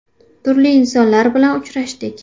Turli insonlar bilan uchrashdik.